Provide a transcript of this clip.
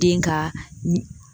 Den ka